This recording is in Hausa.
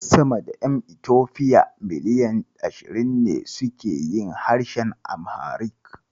Sama da ƴan Itofiya miliyan ashirin ne suke yin harshen Amharic.